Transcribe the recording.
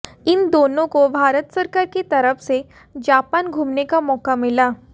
इन दोनों को भारत सरकार की तरफ से जापान घूमने का मौका मिला